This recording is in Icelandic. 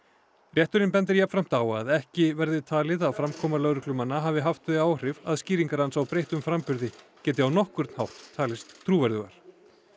rétturinn bendir jafnframt á að ekki verði talið að framkoma lögreglumanna hafi haft þau áhrif að skýringar hans á breyttum framburði geti á nokkurn hátt talist trúverðugar